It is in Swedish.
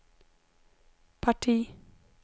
parti